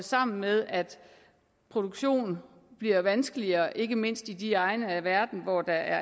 sammen med at produktion bliver vanskeligere ikke mindst i de egne af verden hvor der